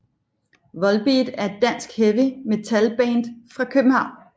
Volbeat er et dansk heavy metalband fra København